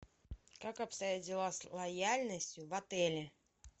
как обстоят дела с лояльностью в отеле